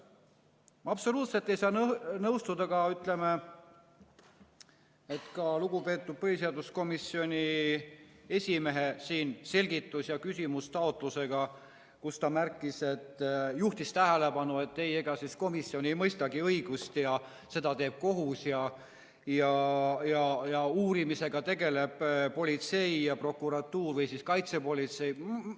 Ma ei saa ka absoluutselt nõustuda, ütleme, lugupeetud põhiseaduskomisjoni esimehe selgitus- ja küsimustaotlusega, kus ta juhtis tähelepanu sellele, et ega komisjon ei mõistagi õigust, seda teeb kohus, ning uurimisega tegeleb politsei ja prokuratuur või kaitsepolitsei.